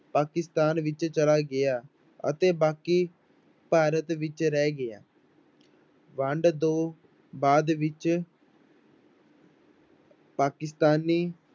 ਪਾਕਿਸਤਾਨ ਵਿੱਚ ਚਲਾ ਗਿਆ ਅਤੇ ਬਾਕੀ ਭਾਰਤ ਵਿੱਚ ਰਹਿ ਗਿਆ ਵੰਡ ਤੋਂ ਬਾਅਦ ਵਿੱਚ ਪਾਕਿਸਤਾਨੀ